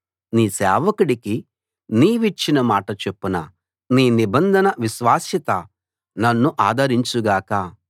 నీ సేవకుడికి నీవిచ్చిన మాట చొప్పున నీ నిబంధన విశ్వాస్యత నన్ను ఆదరించు గాక